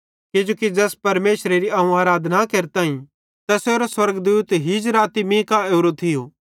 किजोकि ज़ैस परमेशरेरी अवं आराधना केरताईं तैसेरो स्वर्गदूत हीज राती मींका ओरो थियो